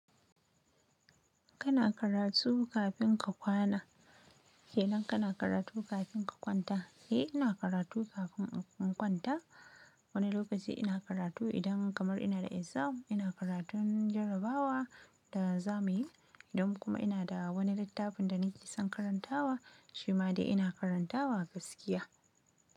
Kana karatu kafin ka kwana? Ke nan kana karatu kafin ka kwanta? Eh ina karatu kafin in kwanta. Wani lokaci ina karatu idan kamar ina da exam. Ina karatun jarabawa da za mu yi. Idan kuma ina da wani littafin da nake son karantawa shi ma dai ina karantawa gaskiya.